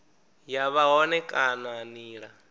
ya vha hone kana nila